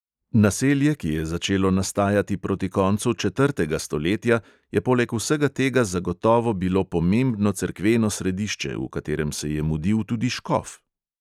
Naselje, ki je začelo nastajati proti koncu četrtega stoletja, je poleg vsega tega zagotovo bilo pomembno cerkveno središče, v katerem se je mudil tudi škof.